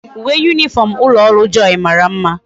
Uwe uniform ulo oru joy mara mma